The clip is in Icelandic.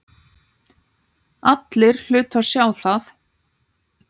Allir hlutu að sjá það.